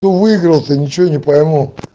что выиграл то ничего не пойму